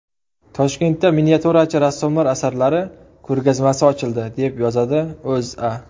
Toshkentda miniatyurachi rassomlar asarlari ko‘rgazmasi ochildi, deb yozadi O‘zA.